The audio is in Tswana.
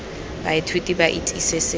baithuti ba itse se se